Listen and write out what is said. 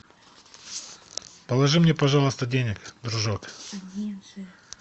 положи мне пожалуйста денег дружок